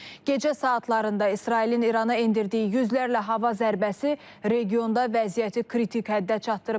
Gecə saatlarında İsrailin İrana endirdiyi yüzlərlə hava zərbəsi regionda vəziyyəti kritik həddə çatdırıb.